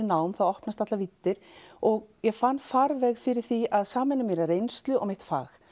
nám þá opnast allar víddir og ég fann farveg fyrir því að sameina mína reynslu og mitt fag